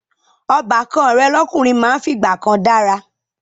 Ọbàkan rẹ̀ lọ́kùnrin máa ń fìgbà kan dára